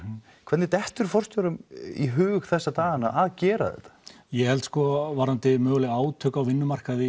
hvernig dettur forstjórum í hug þessa dagana að gera þetta ég held varðandi möguleg átök á vinnumarkaði